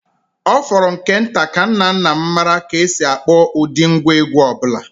Ọ fọrọ nke nta ka nna nna m maara ka e si akpọ ụdị ngwá egwú ọ bụla.